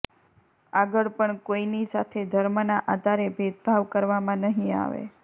આગળ પણ કોઈની સાથે ધર્મના આધારે ભેદભાવ કરવામાં નહિ આવે